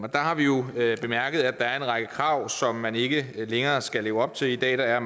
der har vi jo bemærket at der er en række krav som man ikke længere skal leve op til i dag er